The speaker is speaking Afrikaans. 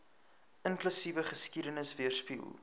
inklusiewe geskiedenis weerspieël